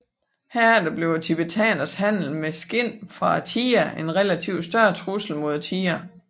Herefter blev tibetanernes handel med skind fra tigeren en relativt større trussel mod tigeren